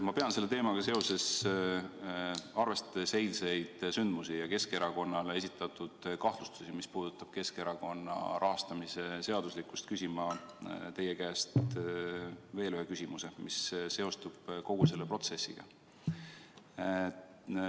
Ma pean selle teemaga seoses, arvestades eilseid sündmusi ja Keskerakonnale esitatud kahtlustusi, mis puudutavad Keskerakonna rahastamise seaduslikkust, küsima teie käest veel ühe küsimuse, mis seostub kogu selle protsessiga.